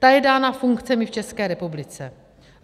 Ta je dána funkcemi v České republice.